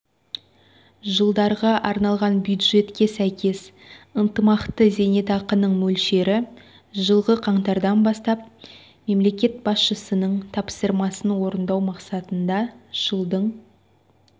жылдарға арналған бюджетке сәйкес ынтымақты зейнетақының мөлшері жылғы қаңтардан бастап мемлекет басшысының тапсырмасын орындау мақсатында жылдың